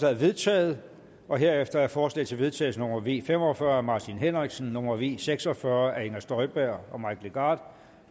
er vedtaget herefter er forslag til vedtagelse nummer v fem og fyrre af martin henriksen nummer v seks og fyrre af inger støjberg og mike legarth